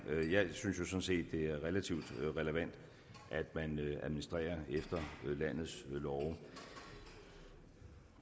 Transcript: jeg set det er relativt relevant at man administrerer efter landets love